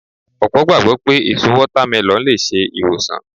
Ọ̀pọ̀ gbàgbọ́ pé èso Wọ́támẹlọ̀n lè ṣe ìwòsàn